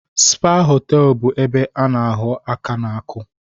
Spa hoteelu bụ ebe a na ahọ aka n'aku